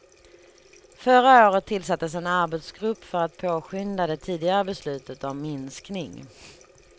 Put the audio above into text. Förra året tillsattes en arbetsgrupp för att påskynda det tidigare beslutet om minskning.